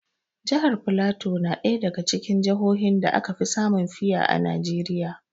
Jihar filato na ɗaya daga cikin jahohin da aka fi samun fiya a Najeriya.